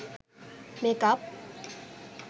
makeup